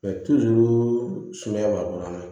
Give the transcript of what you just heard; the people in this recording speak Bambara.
sumaya b'a kɔrɔ